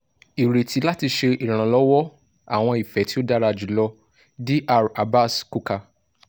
ireti lati ṣe iranlọwọ! awọn ifẹ ti o dara julọ dr abaz quka